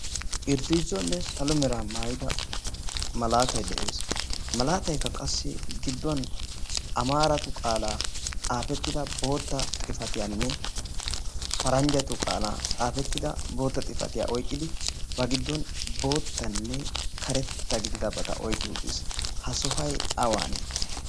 irziizzuwanne salo meraa maayida malaattay de'ees. ha malaatay gidduwan amaaratu qaalan xaafetida xifattiyanne paranjjatu qaaalan xaafetida xifattiya oyqqi ba giddon bootanne karetaa gididabata oyqqi uttis. ha sohoy awaanee?.